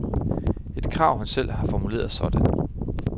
Et krav, han selv har formuleret sådan.